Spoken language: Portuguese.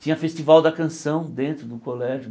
Tinha festival da canção dentro do colégio.